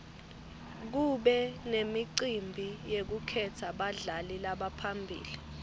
kube nemicimbi yekukhetsa badlali labaphambili